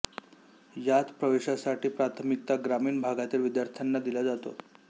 यात प्रवेशासाठी प्राथमिकता ग्रामीण भागातील विद्यार्थ्यांना दिला जातो